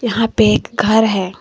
यहां पे एक घर है।